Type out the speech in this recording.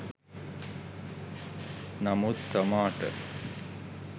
නමුත් තමාට